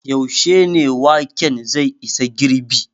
Yaushe ne waken zai isa girɓi?